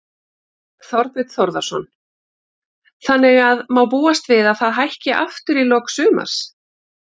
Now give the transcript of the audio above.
Þorbjörn Þórðarson: Þannig að má búast við að það hækki aftur í lok sumars?